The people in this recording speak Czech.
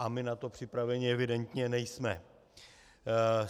A my na to připraveni evidentně nejsme.